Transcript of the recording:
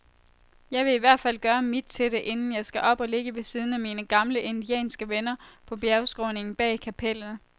Jeg vil ihvertfald gøre mit til det, inden jeg skal op og ligge ved siden af mine gamle indianske venner på bjergskråningen bag kapellet.